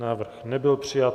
Návrh nebyl přijat.